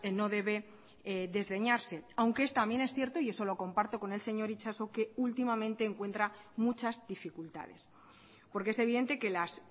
no debe desdeñarse aunque es también es cierto y eso lo comparto con el señor itxaso que últimamente encuentra muchas dificultades porque es evidente que las